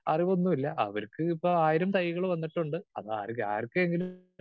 Speaker 2 അറിവൊന്നും ഇല്ല. അവർക്കിപ്പോ ആയിരം തൈകൾ വന്നിട്ടുണ്ട് അതാർ ആർക്കെങ്കിലും